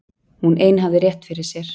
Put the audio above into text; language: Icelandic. Hún ein hafði rétt fyrir sér.